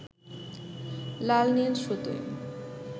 লাল নীল সুতোয়